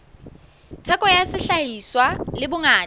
theko ya sehlahiswa le bongata